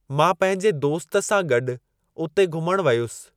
मां पंहिंजे दोस्त सां गॾु उते घुमणु वियुसि।